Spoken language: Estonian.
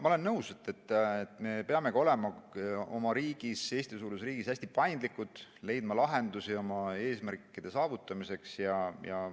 Ma olen nõus, et me peamegi olema oma riigis, Eesti-suuruses riigis hästi paindlikud, leidma lahendusi oma eesmärkide saavutamiseks.